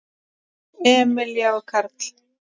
Emilía og Karl.